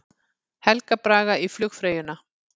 Helga Braga í flugfreyjuna